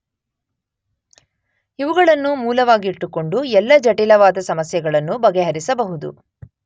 ಇವುಗಳನ್ನು ಮೂಲವಾಗಿಟ್ಟುಕೊಂಡು ಎಲ್ಲ ಜಟಿಲವಾದ ಸಮಸ್ಯೆಗಳನ್ನು ಬಗೆಹರಿಸಬಹುದು